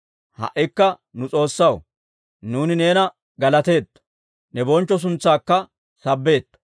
Ha"ikka nu S'oossaw, nuuni neena galateetto; ne bonchcho suntsaakka sabbeetto.